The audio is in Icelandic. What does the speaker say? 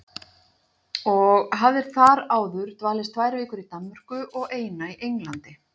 Og hafðir þar áður dvalist tvær vikur í Danmörku og eina í Englandi.